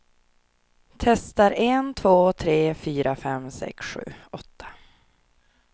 Testar en två tre fyra fem sex sju åtta.